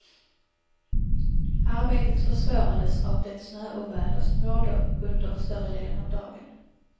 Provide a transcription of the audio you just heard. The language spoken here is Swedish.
Arbetet försvårades av det snöoväder som rådde under större delen av dagen.